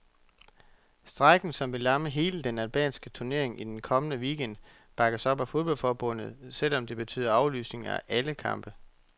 Strejken, som vil lamme hele den albanske turnering i den kommende weekend, bakkes op af fodboldforbundet, selv om det betyder aflysning af alle kampe.